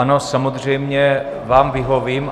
Ano, samozřejmě vám vyhovím.